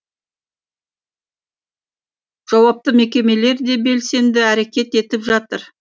жауапты мекемелер де белсенді әрекет етіп жатыр